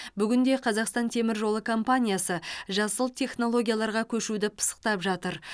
бүгінде қазақстан темір жолы компаниясы жасыл технологияларға көшуді пысықтап жатыр